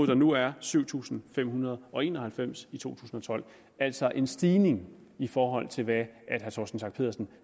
der nu er syv tusind fem hundrede og en og halvfems i to tusind og tolv altså en stigning i forhold til hvad herre torsten schack pedersen